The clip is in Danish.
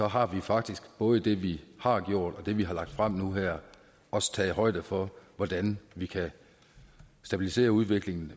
har vi faktisk både i det vi har gjort og i det vi har lagt frem her også taget højde for hvordan vi kan stabilisere udviklingen